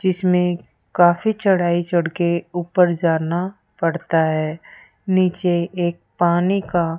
जिसमें काफी चढ़ाई चढ़ के ऊपर जाना पड़ता है नीचे एक पानी का --